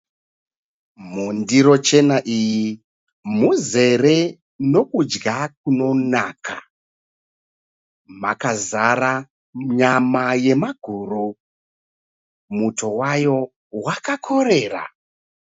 Mundiro chena iyi mune kudya kunonaka, makazara maguru, uye muto wayo wakakorera.